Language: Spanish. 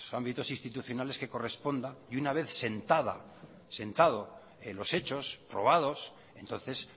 ámbitos institucionales que correspondan y una vez sentado los hechos probados entonces